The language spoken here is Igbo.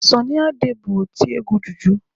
Sọnị Ade bụrụ otiegwu juju.